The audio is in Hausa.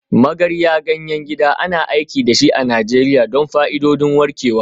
Magarya, ganyen gida, ana aiki da shi a Najeriya don fa'idodin warkewa.